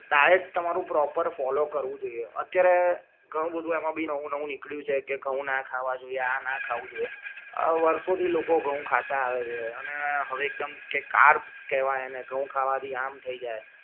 diet તમારું proper follow કરવું જોઈએ અત્યારે ઘણું બધુ એમાં બી નવું નવું નિકડિયું છે કે ઘઉં ના ખાવા જોઈએ આના ખાવું જોઈએ અ વર્ષો થી લોકો ઘઉ ખાતા આવે છે અને હવે એકદમ કે કાર્સ કેવાય એને ઘઉ ખાવા થી આમ થઈજાઈ